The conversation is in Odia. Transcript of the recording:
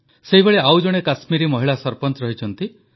ସେଇଭଳି ଆଉ ଜଣେ କଶ୍ମୀରୀ ମହିଳା ସରପଞ୍ଚ ରହିଛନ୍ତି